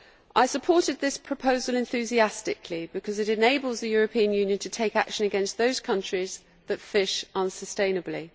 I supported this proposal enthusiastically because it enables the European Union to take action against those countries that fish unsustainably.